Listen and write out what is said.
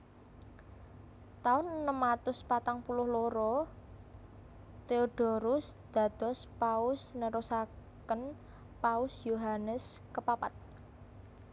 Taun enem atus patang puluh loro Theodorus dados Paus nerusaken Paus Yohanes kepapat